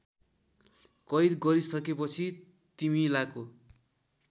कैद गरिसकेपछि तिमीलाको